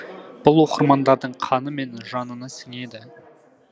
бұл оқырмандардың қаны мен жанына сіңеді